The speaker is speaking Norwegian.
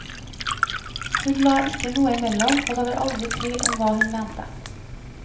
Hun la ikke noe imellom, og det var aldri tvil om hva hun mente.